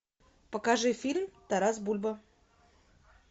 покажи фильм тарас бульба